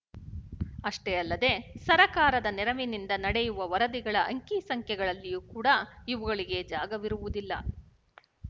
ಅಷ್ಟೇ ಅಲ್ಲದೆ ಸರಕಾರದ ನೆರವಿನಿಂದ ನಡೆಯುವ ವರದಿಗಳ ಅಂಕಿಸಂಖ್ಯೆಗಳಲ್ಲಿಯೂ ಕೂಡ ಇವುಗಳಿಗೆ ಜಾಗವಿರುವುದಿಲ್ಲ